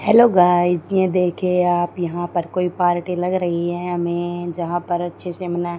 hello guys ये देखिए आप यहां पर कोई पार्टी लग रही है हमें जहां पर अच्छे से मना--